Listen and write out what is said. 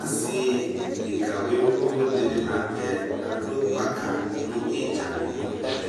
Asi deka wiu wiu dini la nu tɛ adu gbaka nu idzadi nu ɛvɛ